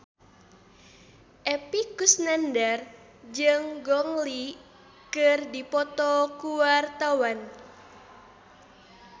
Epy Kusnandar jeung Gong Li keur dipoto ku wartawan